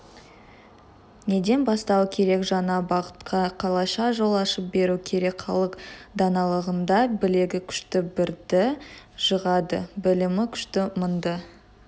неден бастау керек жаңа бағытқа қалайша жол ашып беру керек халық даналығында білегі күшті бірді жығады білімі күшті мыңды